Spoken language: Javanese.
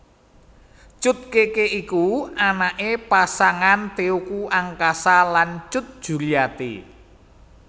Cut Keke iku anaké pasangan Teuku Angkasa lan Cut Juriati